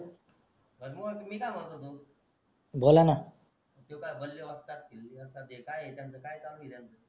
बर मग मी काय म्हणत होतो तो काय बले वस्ताद किले वस्ताद ते काई आहे त्यांचा काय चालू आहे त्यांचा